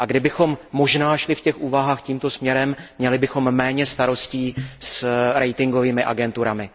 A kdybychom možná šli v těch úvahách tímto směrem, měli bychom méně starostí s ratingovými agenturami.